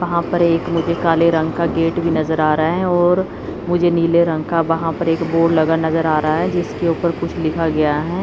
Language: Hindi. वहां पर एक मुझे काले रंग का गेट भी नजर आ रहा है और मुझे नीले रंग का वहां पर एक बोर्ड लगा नजर आ रहा है जिसके ऊपर कुछ लिखा गया है।